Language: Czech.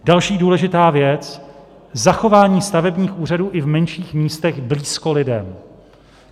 Další důležitá věc, zachování stavebních úřadů i v menších místech blízko lidem.